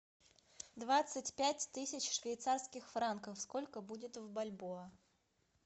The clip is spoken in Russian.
двадцать пять тысяч швейцарских франков сколько будет в бальбоа